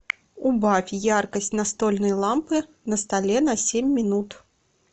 убавь яркость настольной лампы на столе на семь минут